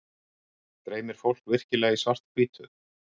Dreymir fólk virkilega í svart-hvítu?